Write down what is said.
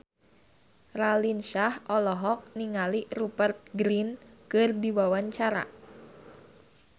Raline Shah olohok ningali Rupert Grin keur diwawancara